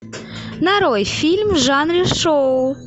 нарой фильм в жанре шоу